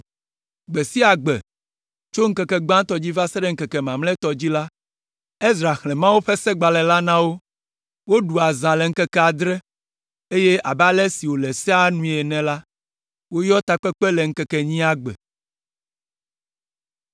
Gbe sia gbe, tso ŋkeke gbãtɔ dzi va se ɖe ŋkeke mamlɛtɔ dzi la, Ezra xlẽ Mawu ƒe Segbalẽ la na wo. Woɖu azã la ŋkeke adre, eye abe ale si wòle Sea nue ene la, woyɔ takpekpe le ŋkeke enyia gbe.